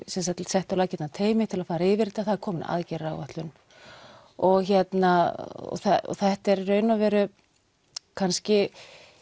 sett á laggirnar teymi til að fara yfir þetta það er komin aðgerðaráætlun og þetta er í raun og veru kannski